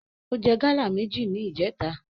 Ó jẹ gáálà méjì ní ìjèta